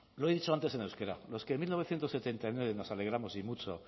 lo he dicho antes en euskera los que en mil novecientos setenta y nueve nos alegramos y mucho